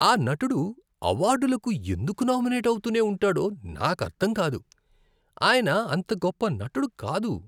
ఆ నటుడు అవార్డులకు ఎందుకు నామినేట్ అవుతూనే ఉంటాడో నాకు అర్థం కాదు. ఆయన అంత గొప్ప నటుడు కాదు.